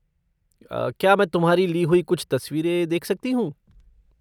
क्या मैं तुम्हारी ली हुईं कुछ तसवीरें देख सकती हूँ?